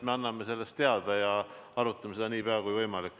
Me anname sellest teada ja arutame seda nii pea kui võimalik.